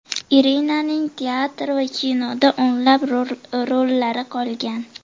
Irinaning teatr va kinoda o‘nlab rollari qolgan.